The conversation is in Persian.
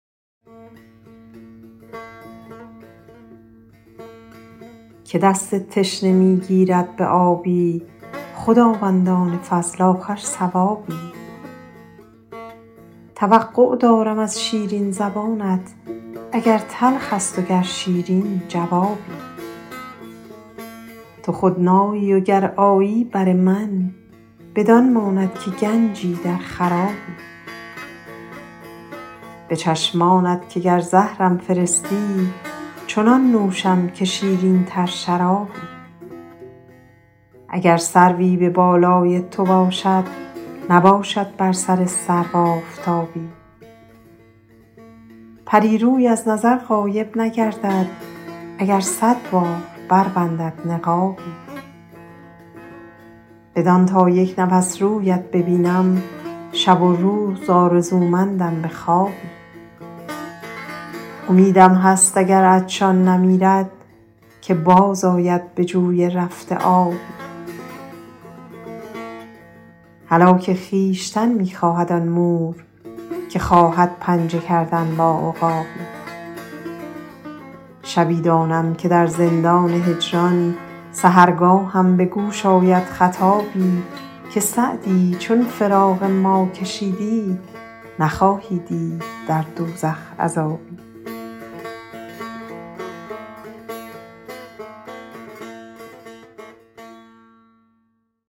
که دست تشنه می گیرد به آبی خداوندان فضل آخر ثوابی توقع دارم از شیرین زبانت اگر تلخ است و گر شیرین جوابی تو خود نایی و گر آیی بر من بدان ماند که گنجی در خرابی به چشمانت که گر زهرم فرستی چنان نوشم که شیرین تر شرابی اگر سروی به بالای تو باشد نباشد بر سر سرو آفتابی پری روی از نظر غایب نگردد اگر صد بار بربندد نقابی بدان تا یک نفس رویت ببینم شب و روز آرزومندم به خوابی امیدم هست اگر عطشان نمیرد که باز آید به جوی رفته آبی هلاک خویشتن می خواهد آن مور که خواهد پنجه کردن با عقابی شبی دانم که در زندان هجران سحرگاهم به گوش آید خطابی که سعدی چون فراق ما کشیدی نخواهی دید در دوزخ عذابی